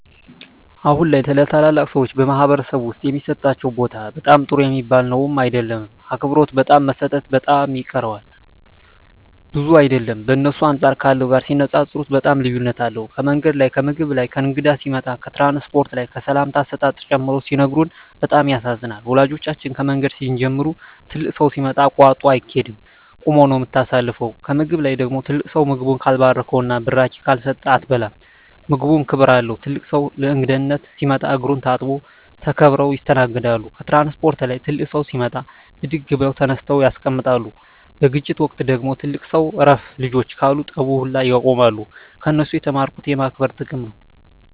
አሁን ላይ ለተላላቅ ሰዎች በማኅበረሰብ ዉስጥ የሚሠጣቸው ቦታ በጣም ጥሩ ሚባል ነዉም አይደለም አክብሮት በጣም መሰጠት በጣም ይቀረዋል ብዙም አይደለም በእነሱ አንጻር ካለው ጋር ሲነጻጽጽሩት በጣም ልዩነት አለዉ ከምንገድ ላይ ከምግብ ላይ ከእንግዳ ሲመጣ ከትራንስፖርት ላይ ከሰላምታ አሰጣጥ ጨምሮ ሲነግሩን በጣም ያሳዝናል ወላጆቻችን ከምንገድ ሲንጀምሩ ትልቅ ሠው ሲመጣ አቃርጦ አይቂድም ቁመ ነው ምታሳልፈው ከምግብ ላይ ደግሞ ትልቅ ሰው ምግቡን ካልባረከዉና ብራቂ ካልሰጠ አትበላም ምግቡም ክብር አለው ትልቅ ሰው ለእንግዳነት ሲመጣ እግሩን ታጥቦ ተከብረው ይስተናገዳሉ ከትራንስፖርት ላይ ትልቅ ሰው ሲመጣ ብድግ ብለው ተነስተው ያስቀምጣሉ በግጭት ወቅት ደግሞ ትልቅ ሰው እረፍ ልጆቸ ካሉ ጠቡ ውላ ያቆማሉ ከነሱ የተማርኩት የማክበር ጥቅም ነው